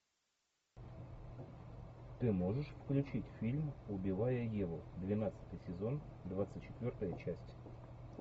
ты можешь включить фильм убивая еву двенадцатый сезон двадцать четвертая часть